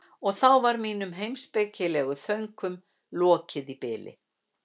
Og þá var mínum heimspekilegu þönkum lokið í bili.